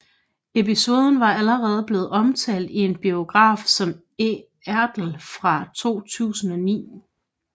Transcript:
Episoden var allerede blevet omtalt i en biografi om Ertl fra 2009